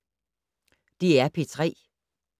DR P3